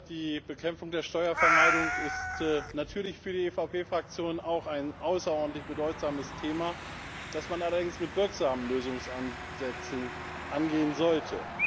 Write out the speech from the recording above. Die Bekämpfung der Steuervermeidung ist natürlich für die EVP Fraktion auch ein außerordentlich bedeutsames Thema, das man allerdings mit wirksamen Lösungsansätzen angehen sollte.